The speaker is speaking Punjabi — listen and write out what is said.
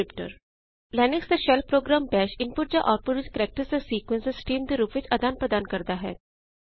ਲਿਨਕਸ ਦਾ ਸ਼ੈੱਲ ਪ੍ਰੋਗ੍ਰਾਮ ਜਿਂਵੇ ਕੀ ਬਾਸ਼ ਇਨਪੁਟ ਜਾਂ ਆਊਟਪੁਟ ਵਿੱਚ ਕੈਰੇਕਟਰਜ਼ ਦਾ ਇਕ ਸੀਕੁਐਂਸ ਜਾਂ ਸਟ੍ਰੀਮ ਦੇ ਰੂਪ ਵਿੱਚ ਆਦਾਨ ਪ੍ਰਦਾਨ ਕਰਦਾ ਹੈ